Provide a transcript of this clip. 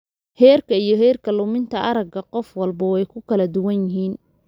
Heerka iyo heerka luminta aragga qof walba way ku kala duwan yihiin.